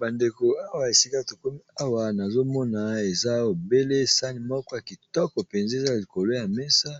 Bandeko awa esika tokumi awa nazomona eza ebele sani moko ya kitoko mpenza eza likolo ya mesa,